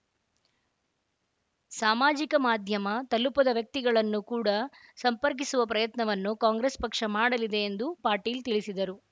ಸಾಮಾಜಿಕ ಮಾಧ್ಯಮ ತಲುಪದ ವ್ಯಕ್ತಿಗಳನ್ನು ಕೂಡ ಸಂಪರ್ಕಿಸುವ ಪ್ರಯತ್ನವನ್ನು ಕಾಂಗ್ರೆಸ್‌ ಪಕ್ಷ ಮಾಡಲಿದೆ ಎಂದು ಪಾಟೀಲ ತಿಳಿಸಿದರು